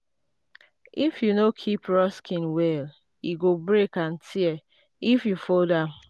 if you no keep raw skin well e go break and tear if you fold am.